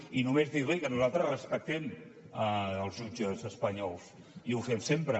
i només dir li que nosaltres respectem els jutges espanyols i ho fem sempre